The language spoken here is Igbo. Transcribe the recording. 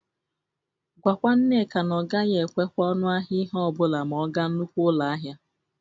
Gwakwa Nneka na ọ gaghị ekwekwa ọnụ ahịa ihe ọ bụla ma ọ ga nnukwu ụlọ ahịa.